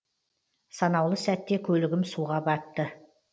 санаулы сәтте көлігім суға батты